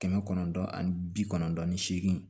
Kɛmɛ kɔnɔntɔn ani bi kɔnɔntɔn ni seegin